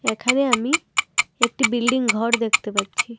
এখানে আমি একটি বিল্ডিং ঘর দেখতে পাচ্ছি।